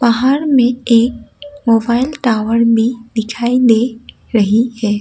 पहाड़ मे एक मोबाइल टावर में दिखाई दे रही है।